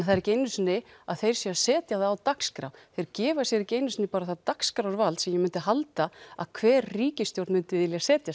það er ekki einu sinni að þeir séu að setja það á dagskrá þeir gefa sér ekki einu sinni það dagskrárvald sem ég myndi halda að hver ríkisstjórn myndi vilja setja